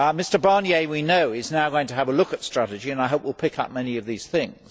Mr Barnier, we know, is now going to have a look at strategy and I hope will pick up many of these things.